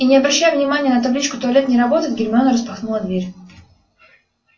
и не обращая внимания на табличку туалет не работает гермиона распахнула дверь